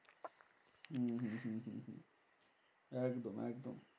একদম একদম।